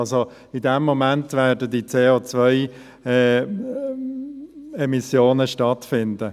In diesem Moment werden die CO-Emissionen stattfinden.